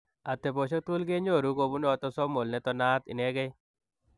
Ateposiek tugul kenyoruu kobunu atosomal netononaat inegei.